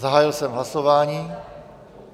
Zahájil jsem hlasování.